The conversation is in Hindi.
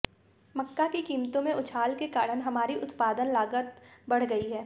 मक्का की कीमतों में उछाल के कारण हमारी उत्पादन लागत बढ़ गई है